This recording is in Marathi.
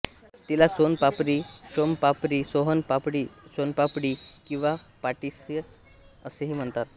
तिला सोन पापरी शोमपापरी सोहन पापडी शोणपापडी किंवा पाटिसा असेही म्हणतात